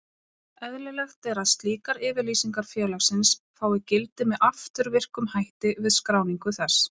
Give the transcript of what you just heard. Eðlilegt er að slíkar yfirlýsingar félagsins fái gildi með afturvirkum hætti við skráningu þess.